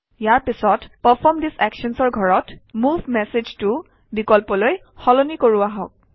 ইয়াৰ পিছত পাৰফৰ্ম ঠেছে actions or ঘৰত মুভ মেছেজ ত বিকল্পলৈ সলনি কৰোঁ আহক